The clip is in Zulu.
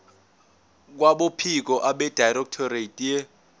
kwabophiko abedirectorate ye